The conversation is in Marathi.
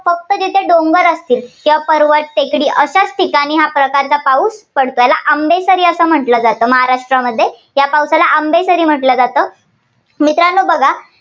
जिथे डोंगर असतील, पर्वत, टेकडी अशाच ठिकाणी या प्रकारचा पाऊस पडतो. याला आंबेकरी असं म्हटलं जातं. महाराष्ट्रामध्ये या पावसाला आंबेकरी असं म्हटलं जातं. मित्रांनो बघा